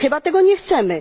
Chyba tego nie chcemy.